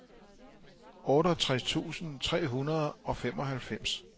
otteogtres tusind tre hundrede og femoghalvfems